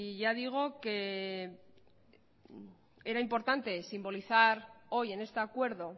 ya digo que era importante simbolizar hoy en este acuerdo